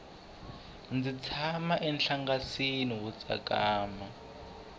ndzi tshama enhlangasini wo tsakama